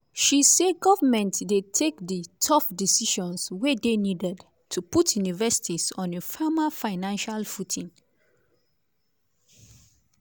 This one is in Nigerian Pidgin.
she say government dey "take di tough decisions wey dey needed to put universities on a firmer financial footing".